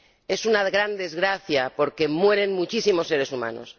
Es una gran desgracia, porque mueren muchísimos seres humanos.